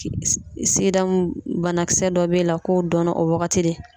Sigida banakisɛ dɔ b'e la k'o dɔnna o wagati de